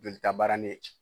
Jolitabarani